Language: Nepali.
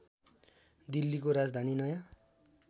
दिल्लीको राजधानी नयाँ